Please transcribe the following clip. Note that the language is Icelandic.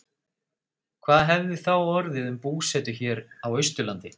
Hvað hefði þá orðið um búsetu hér á Austurlandi?